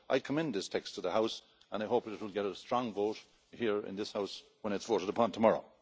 I commend this text to the House and I hope it will get a strong vote here in this House when it is voted upon tomorrow.